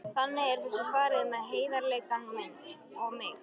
Þannig er þessu farið með heiðarleikann og mig.